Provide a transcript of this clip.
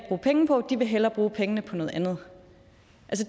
penge på de vil hellere bruge pengene på noget andet